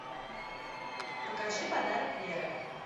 покажи подарок веры